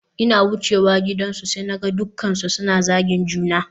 Ina wucewa gidansu sai naga dukkansu suna zagin juna